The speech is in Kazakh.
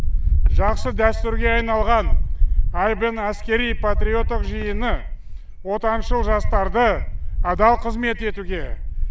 жақсы дәтүрге айналған айбын әскери патриоттық жиыны отаншыл жастарды адал қызмет етуге